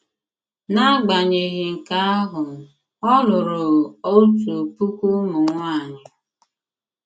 N’agbanyeghị nke ahụ, ọ lụrụ otu puku ụmụ nwanyị.